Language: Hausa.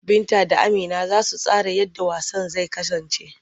Binta da Amina za su tsara yadda wasan zai kasance.